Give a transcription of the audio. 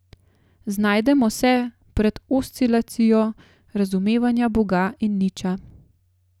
Znajdemo se pred oscilacijo razumevanja boga in niča.